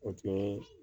O tun ye